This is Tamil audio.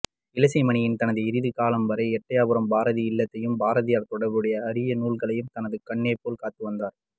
இளசை மணியன் தனது இறுதிக் காலம்வரை எட்டயபுரம் பாரதி இல்லத்தையும் பாரதியாா் தொடா்புடைய அரிய நூல்களையும் தனது கண்ணேபோல் காத்துவந்தாா்